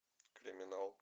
криминал